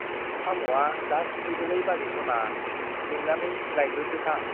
साम'आ दा सुफैदोलै बाजै सना, लिंनानै लायग्रोदो थां ।